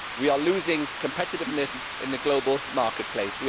We are losing competitiveness in the global marketplace